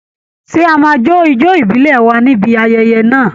Ṣé a máa jó ijó ìbílẹ̀ wa ní ibi ayẹyẹ náà?